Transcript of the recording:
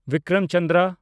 Bikram Chandra